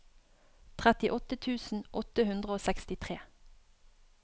trettiåtte tusen åtte hundre og sekstitre